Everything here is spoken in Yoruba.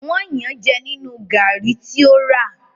wón Yàn jé nínú garri tí o rà.